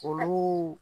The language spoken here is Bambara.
Olu